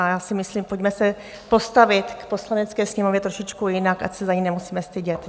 A já si myslím, pojďme se postavit k Poslanecké sněmovně trošičku jinak, ať se za ni nemusíme stydět.